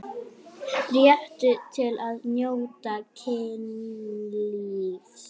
Réttur til að njóta kynlífs